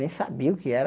Nem sabia o que era...